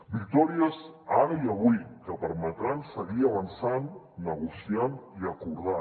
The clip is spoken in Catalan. victòries ara i avui que permetran seguir avançant negociant i acordant